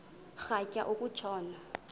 rhatya uku tshona